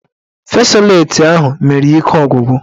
Fesoleti ahụ mere ya ike ọgwụgwụ